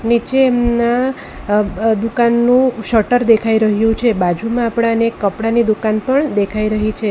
નીચે એમના અબ અહ દુકાનનું શટર દેખાઈ રહ્યું છે બાજુમાં આપણાને કપડાની દુકાન પણ દેખાઈ રહી છે.